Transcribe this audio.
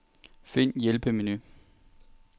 Find hjælpemenu.